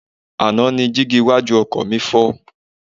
Àná ni dígí iwájú ọkọ̀ mi fọ́.